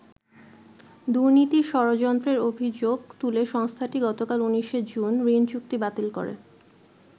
দুর্নীতির ষড়যন্ত্রের অভিযোগ তুলে সংস্থাটি গত ২৯শে জুন ঋণচুক্তি বাতিল করে।